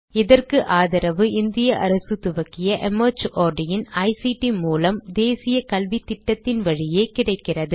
இதற்கு ஆதரவு இந்திய அரசு துவக்கிய மார்ட் இன் ஐசிடி மூலம் தேசிய கல்வித்திட்டத்தின் வழியே கிடைக்கிறது